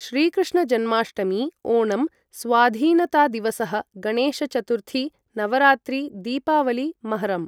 श्रीकृष्णजन्माष्टमी ओणम् स्वाधीनतादिवसः गणेशचतुर्थी, नवरात्रि, दीपावलि, महरम्